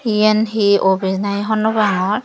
iyan he office nahi hobor nw pangor.